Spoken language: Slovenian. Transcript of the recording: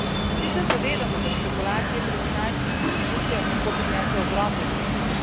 Vsi se zavedamo, da špekulacije pri finančnih inštitucijah lahko prinesejo ogromne dobičke.